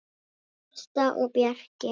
Ásta og Bjarki.